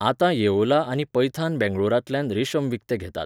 आतां येओला आनी पैथान बेंगळूरांतल्यान रेशम विकतें घेतात.